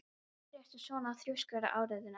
Af hverju ertu svona þrjóskur, Aríaðna?